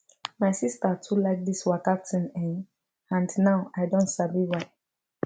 my sister too like this waka thing[um]and now i don sabi why